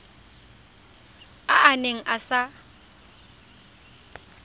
a a neng a sa